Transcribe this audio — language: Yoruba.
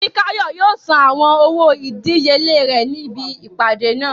Fikáyọ̀ yóò san àwọn owó ìdíyelé rẹ̀ níbi ìpàdé náà